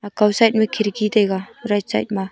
kaw side ma khirki taiga right side ma.